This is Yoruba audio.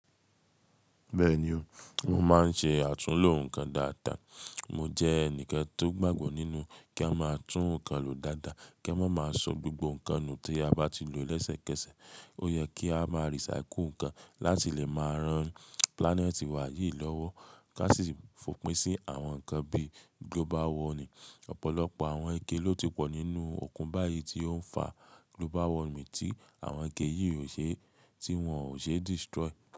Bẹ́ẹ̀ni o, mo máa ń ṣe àtúnlo nǹkan dáadáa. Mo jẹ́ ẹnìkan tó gbàgbọ́ nínú kí a máa tún nǹkan lò dáadáa, kí a má máa so gbogbo nǹkan nù tí a bá ti lò lésẹ̀kẹsẹ̀. Ó yẹ kí a máa recycle nǹkan láti lè máa ran planet wa yìí lọ́wọ́, ká sì fòpin sí àwọn nǹkan bí global warming. Ọ̀pọ̀lọpọ̀ àwọn ike ló ti pọ̀ nínú òkun báyìí tí ó ń fa global warming tí àwọn ike yìí ò ṣe tí wọ́n ò ṣe destroy.